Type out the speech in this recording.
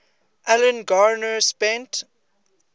alan garner spent